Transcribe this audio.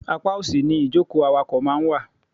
Apá òsì ni ìjókòó awakọ̀ máa ń wà.